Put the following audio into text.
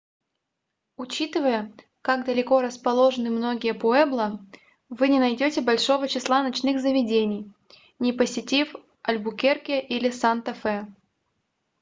учитывая как далеко расположены многие пуэбло вы не найдете большого числа ночных заведений не посетив альбукерке или санта-фе